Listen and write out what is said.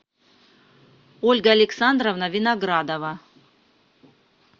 ольга александровна виноградова